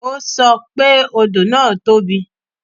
O sọ pé odò náà tóbi